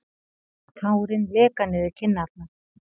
Tárin leka niður kinnarnar.